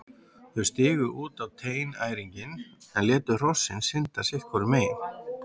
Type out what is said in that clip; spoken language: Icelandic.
Þau stigu út á teinæringinn en létu hrossin synda sitt hvoru megin.